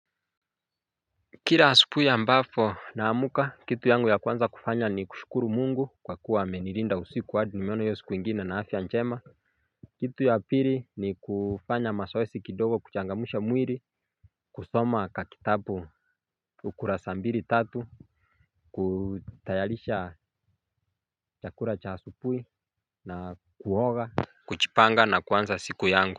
Kila asubuhi ambapo naamka, kitu yangu ya kwanza kufanya ni kushukuru Mungu kwa kuwa amenilinda usiku hadi nimeona hiyo siku ingine nina afya njema. Kitu ya pili ni kufanya mazoezi kidogo kuchangamsha mwili kusoma kakitabu ukurasa mbili tatu kutayarisha chakula cha asubuhi na kuoga. Kujipanga na kuanza siku yangu.